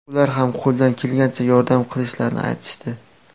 Ular ham qo‘lidan kelgancha yordam qilishlarini aytishdi.